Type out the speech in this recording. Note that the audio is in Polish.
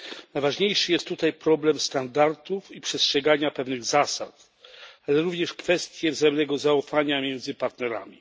Najważniejszy jest tutaj problem standardów i przestrzegania pewnych zasad, ale również kwestie wzajemnego zaufania między partnerami.